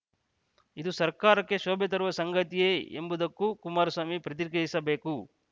ಇದು ಸರ್ಕಾರಕ್ಕೆ ಶೋಭೆ ತರುವ ಸಂಗತಿಯೇ ಎಂಬುದಕ್ಕೂ ಕುಮಾರಸ್ವಾಮಿ ಪ್ರತಿಕ್ರಿಯಿಸಬೇಕು